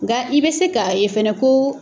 Nga i bɛ se ka yen fɛnɛ ko